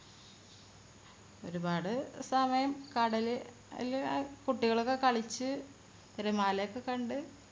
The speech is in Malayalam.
ഒരുപാട് സമയം കടല് കുട്ടികളൊക്കെ കളിച്ചു തിരമാല ഒക്കെ കണ്ട്